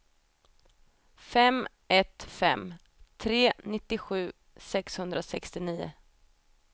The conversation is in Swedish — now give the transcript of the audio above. fem ett fem tre nittiosju sexhundrasextionio